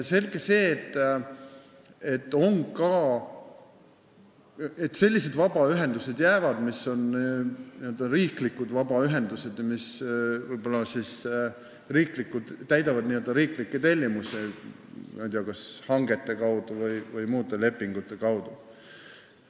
Selge see, et jäävad sellised vabaühendused, mis on riiklikud ja täidavad n-ö riiklikke tellimusi kas hangete või muude lepingute kaudu.